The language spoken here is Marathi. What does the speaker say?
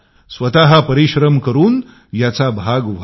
स्वतः परिश्रम करून याचा भाग व्हा